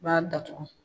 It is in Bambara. B'a datugu